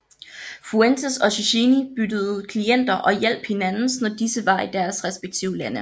Fuentes og Cecchini byttede klienter og hjalp hinandens når disse var i deres respektive lande